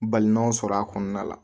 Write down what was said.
Balɔn sɔrɔ a kɔnɔna la